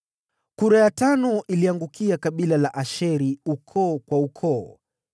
Kura ya tano ikaangukia kabila la Asheri, ukoo kwa ukoo.